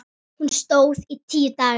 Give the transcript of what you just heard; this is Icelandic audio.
Hún stóð í tíu daga.